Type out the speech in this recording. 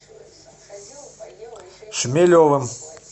шмелевым